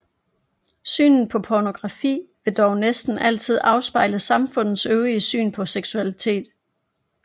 Synet på pornografi vil dog næsten altid afspejle samfundets øvrige syn på seksualitet